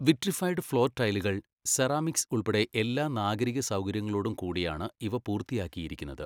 Vitrified floor ടൈലുകൾ, ceramics ഉൾപ്പെടെ എല്ലാ നാഗരിക സൗകര്യങ്ങളോടും കൂടിയാണ് ഇവ പൂർത്തിയാക്കിയിരിക്കുന്നത്.